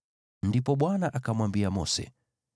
Ndipo Bwana akamwambia Mose,